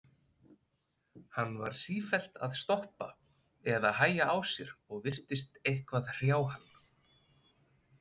Hann var sífellt að stoppa eða hægja á sér og virtist eitthvað hrjá hann.